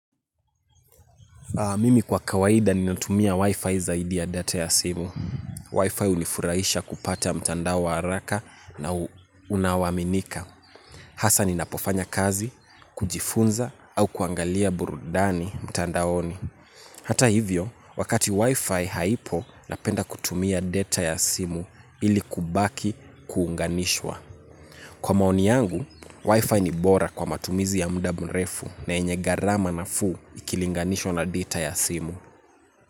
Mimi kwa kawaida ninatumia Wi-Fi zaidi ya data ya simu. Wi-Fi hunifurahisha kupata mtandao wa haraka na unao aminika. Hasa ninapofanya kazi, kujifunza au kuangalia burudani mtandaoni. Hata hivyo, wakati Wi-Fi haipo, napenda kutumia data ya simu ili kubaki kuunganishwa. Kwa maoni yangu, Wi-Fi ni bora kwa matumizi ya muda mrefu na yenye gharama nafuu ikilinganishwa na data ya simu.